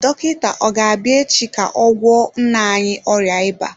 Dọkịta ọ ga-abịa echi ka ọ gwọọ nna anyị ọrịa ịba?